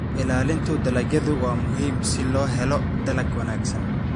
Ilaalinta dalagyadu waa muhiim si loo helo dalag wanaagsan.